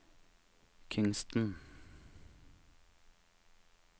Kingstown